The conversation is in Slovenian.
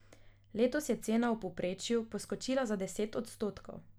Letos je cena v povprečju poskočila za deset odstotkov.